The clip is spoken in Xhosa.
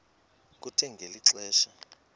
kuthe ngeli xesha